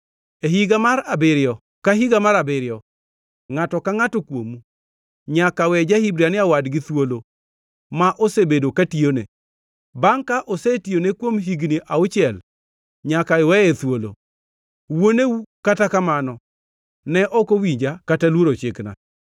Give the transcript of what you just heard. ‘E higa mar abiriyo ka higa mar abiriyo ngʼato ka ngʼato kuomu nyaka we ja-Hibrania wadgi thuolo ma osebedo katiyone. Bangʼ ka osetiyone kuom higni auchiel, nyaka iweye thuolo.’ Wuoneu, kata kamano, ne ok owinja kata luoro chikna.